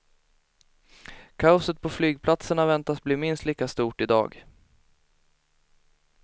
Kaoset på flygplatserna väntas bli minst lika stort i dag.